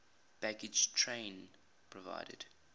baggage train provided